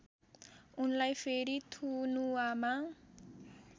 उनलाई फेरि थुनुवामा